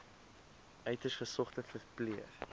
uiters gesogde verpleër